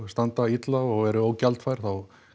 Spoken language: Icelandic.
standa illa og eru ógjaldfær þá